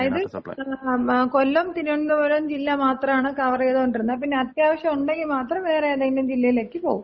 അതായത് കൊല്ലം, തിരുവനന്തപുരം ജില്ല മാത്രാണ് കവറ് ചെയ്തോണ്ടിരുന്നത്. പിന്നെ അത്യാവശ്യോണ്ടെങ്കി മാത്രം വേറെ ഏതെങ്കിലും ജില്ലയിലേക്ക് പോകും.